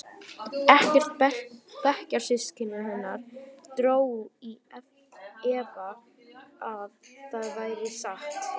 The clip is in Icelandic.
Ekkert bekkjarsystkina hennar dró í efa að það væri satt.